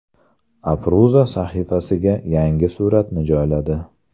Afruza sahifasiga yangi suratini joyladi.